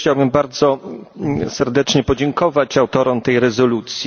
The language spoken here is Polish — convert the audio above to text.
Ja też chciałbym bardzo serdecznie podziękować autorom tej rezolucji.